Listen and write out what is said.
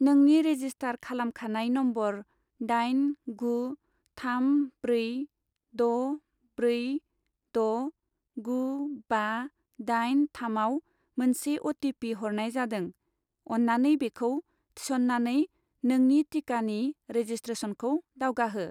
नोंनि रेजिस्टार खालामखानाय नम्बर दाइन गु थाम ब्रै द' ब्रै द' गु बा दाइन थाम आव मोनसे अ.टि.पि. हरनाय जादों, अन्नानै बेखौ थिसन्नानै नोंनि टिकानि रेजिसट्रेसनखौ दावगाहो।